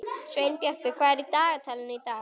Sveinbjartur, hvað er í dagatalinu í dag?